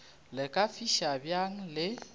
le ka fiša bjang le